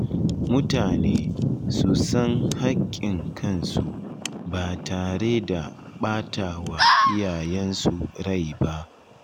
Mutane su san hakkin kansu ba tare da ɓata wa iyayensu rai ba.